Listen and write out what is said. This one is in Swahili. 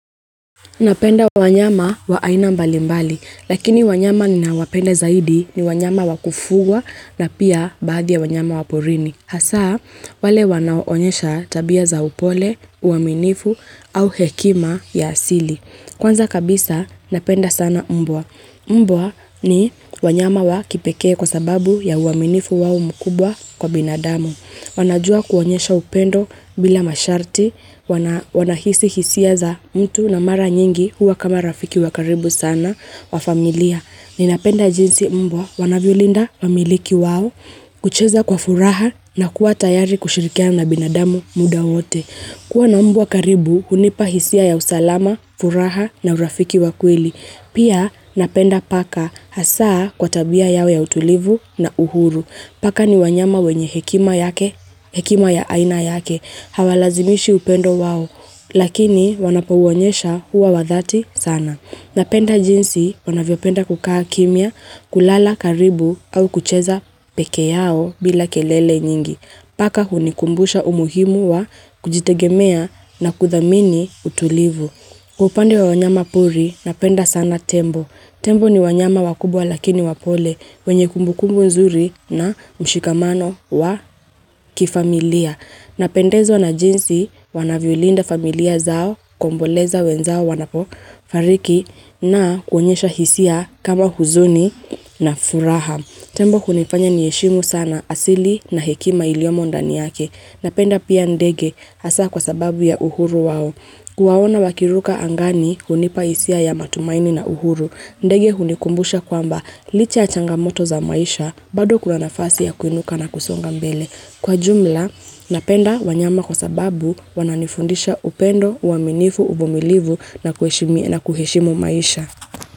Napenda wanyama wa aina mbali mbali, lakini wanyama ninawapenda zaidi ni wanyama wa kufugwa na pia baadhi ya wanyama wa porini. Hasaa, wale wanaoonyesha tabia za upole, uaminifu au hekima ya asili. Kwanza kabisa, napenda sana mbwa. Mbwa ni wanyama wa kipekee kwa sababu ya uaminifu wao mkubwa kwa binadamu. Wanajua kuonyesha upendo bila masharti, wanahisi hisia za mtu na mara nyingi huwa kama rafiki wa karibu sana wa familia. Ninapenda jinsi mbwa wanavyolinda wamiliki wao, kucheza kwa furaha na kuwa tayari kushirikiana na binadamu muda wote. Kuwa na mbwa karibu, hunipa hisia ya usalama, furaha na urafiki wa kweli. Pia napenda paka hasaa kwa tabia yao ya utulivu na uhuru. Paka ni wanyama wenye hekima ya aina yake, hawalazimishi upendo wao, lakini wanapouonyesha huwa wa dhati sana. Napenda jinsi wanavyo penda kukaa kimya, kulala, karibu, au kucheza pekee yao bila kelele nyingi. Paka hunikumbusha umuhimu wa kujitegemea na kuthamini utulivu. Upande wa wanyama pori, napenda sana tembo. Tembo ni wanyama wakubwa lakini wapole, wenye kumbu kumbu nzuri na mshikamano wa kifamilia. Napendezwa na jinsi wanavyolinda familia zao, kuomboleza wenzao wanapofariki na kuonyesha hisia kama huzuni na furaha. Tembo hunifanya niheshimu sana asili na hekima iliyomo ndani yake. Napenda pia ndege hasaa kwa sababu ya uhuru wao. Kuwaona wakiruka angani kunipa hisia ya matumaini na uhuru. Ndege hunikumbusha kwamba licha ya changamoto za maisha badou Kuna nafasi ya kuinuka na kusonga mbele. Kwa jumla, napenda wanyama kwa sababu wananifundisha upendo, uaminifu, uvumilivu na kuheshimo maisha.